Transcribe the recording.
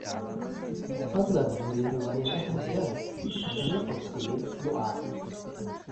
fadlan hubi riwaayadaha jazz ee la qorsheeyay usbuucan